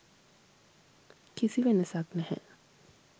කිසි වෙනසක් නැහැ.